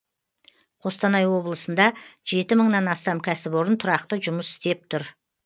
қостанай облысында жеті мыңнан астам кәсіпорын тұрақты жұмыс істеп тұр